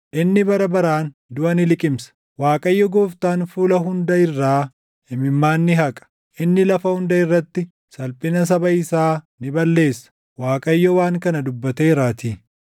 inni bara baraan duʼa ni liqimsa. Waaqayyo Gooftaan fuula hunda irraa imimmaan ni haqa; inni lafa hunda irratti salphina saba isaa ni balleessa. Waaqayyo waan kana dubbateeraatii.